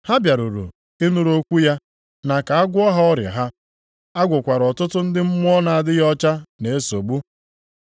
Ndị bịara ịnụrụ okwu ya na ka a gwọọ ha ọrịa ha. A gwọkwara ọtụtụ ndị mmụọ na-adịghị ọcha na-esogbu.